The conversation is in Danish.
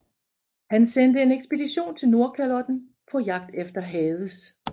Han sendte en ekspedition til Nordkalotten på jagt efter Hades